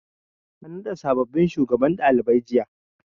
An naɗa sabobbin shugabannin ɗalibai.